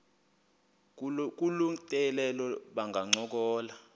kolu tyelelo bangancokola